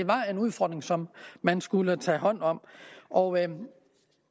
var en udfordring som man skulle tage hånd om og